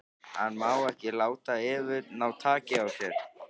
Hann má ekki láta Evu ná taki á sér.